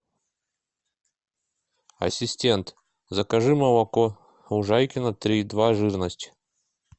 ассистент закажи молоко лужайкино три и два жирность